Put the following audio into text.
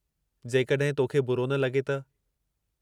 जेकॾहिं तोखे बुरो न लॻे त।